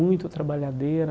Muito trabalhadeira.